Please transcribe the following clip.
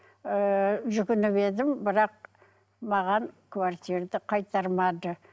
ыыы жүгініп едім бірақ маған қайтармады